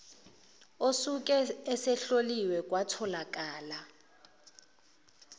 osuke esehloliwe kwatholakala